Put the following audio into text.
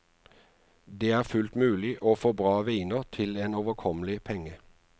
Det er fullt mulig å få bra viner til en overkommelig penge.